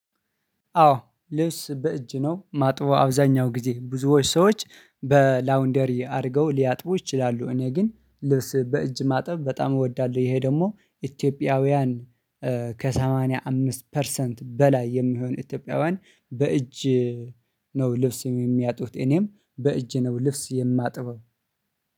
አወ ልብስ በእጄ ነው የማጥበው አብዛኛውን ጊዜ ብዙ ሰወች በላውንደሪ አድርገው ሊያጥቡ ይችላሉ እኔ ግን ልብስ በእጅ ማጠብ በጣም እወዳለሁ። ይሄ ደግሞ ኢትዮጵያውያን ከሰማኒያ አምስት ፐርሰንት በላይ የሚሆን ኢትዮጵያውያን በእጅ። ነው ልብስ የሚያጥቡት እኔም በእጅ ነው ልብስ የማጥበው።